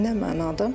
Nə mənada?